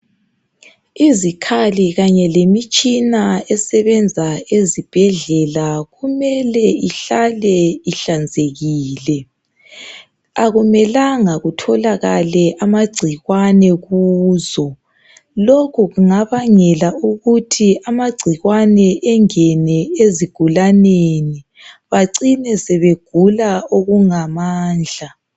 Izikhali kanye lemitshina esebenza ezibhedlela kumele ihlale ihlanzekile. Akumelanga kutholakale amagcikwane kuzo. Lokhu kungabangela ukuthi amagcikwane engene ezigulaneni bacine sebegula okungamandla.